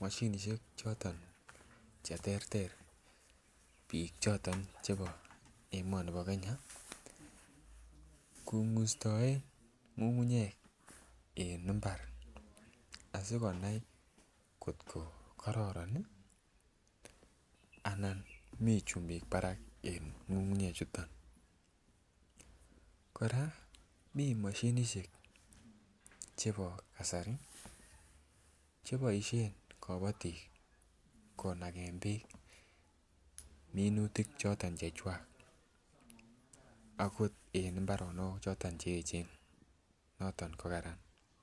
mashinisiek choton Che terter bik choton chebo emoni bo Kenya kongustoen ngungunyek en mbar asi konai angot ko karoron anan mi chumbik barak en ngungunyechuto kora mi moshinisiek Che boisien kabatik konagen bek minutik choton Che chwak akot en mbarenik choton Che echen noton ko Kararan